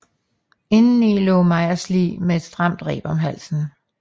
Indeni lå Meyers lig med et stramt reb om halsen